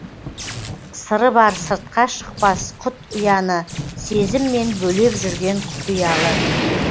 сыры бар сыртқа шықпас құт ұяны сезіммен бөлеп жүрген құпиялы